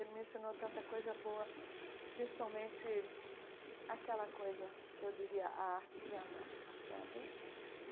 Ele me ensinou tanta coisa boa, principalmente aquela coisa que eu diria a arte de amar, sabe?